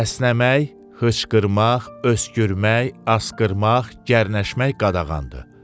əsnəmək, xışqırmaq, öskürmək, asqırmaq, gərnəşmək qadağandır.